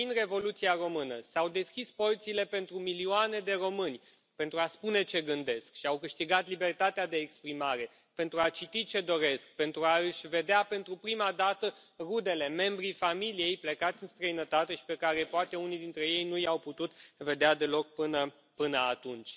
Prin Revoluția română s au deschis porțile pentru milioane de români, pentru a spune ce gândesc, și au câștigat libertatea de exprimare, pentru a citi ce doresc, pentru a își vedea, pentru prima dată, rudele, membrii familiei plecați în străinătate și pe care poate unii dintre ei nu i au putut vedea deloc până atunci.